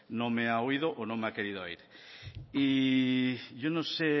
no me ha oído o no me ha querido oír y yo no sé